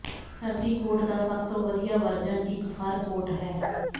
ਸਰਦੀ ਕੋਟ ਦਾ ਸਭ ਤੋਂ ਵਧੀਆ ਵਰਜਨ ਇੱਕ ਫਰ ਕੋਟ ਹੈ